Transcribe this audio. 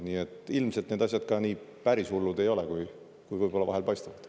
Nii et ilmselt need asjad päris nii hullud ei ole, kui võib-olla vahel paistavad.